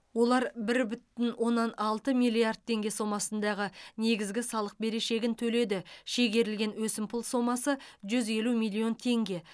олар бір бүтін оннан алты миллиард теңге сомасындағы негізгі салық берешегін төледі шегерілген өсімпұл сомасы жүз елу миллион теңге